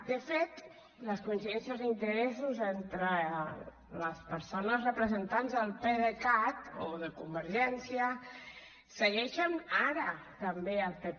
de fet les coincidències d’interessos entre les persones representants del pdecat o de convergència segueixen ara també al pp